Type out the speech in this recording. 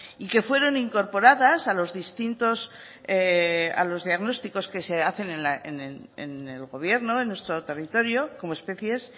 y que fueron incorporadas a los distintos a los diagnósticos que se hacen en el gobierno en nuestro territorio como especies